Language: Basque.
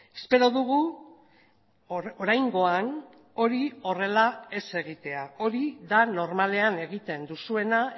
espero dugu oraingoan hori horrela ez egitea hori da normalean egiten duzuena